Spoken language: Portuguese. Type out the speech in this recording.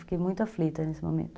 Fiquei muito aflita nesse momento.